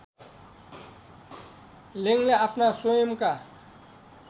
लेङ्गले आफ्ना स्वयंका